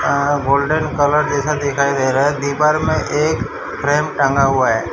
आअ golden colour जैसा दिखाई दे रहा है दीवार में एक फ्रेम टंगा हुआ है।